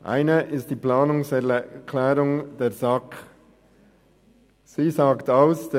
Eine ist die Planungserklärung der SAK mit dem Wortlaut «